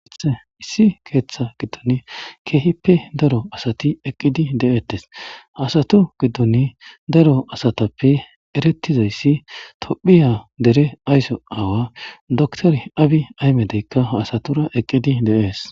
issi keeththa giddon keehippe daro asati eqqidi de7ettes hasato giddon daro asatappe erettizayssi tophiya dere ayso aawa dotor abi aymedeykka hasatora eqqidi deees